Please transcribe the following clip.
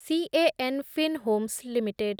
Can Fin Homes limited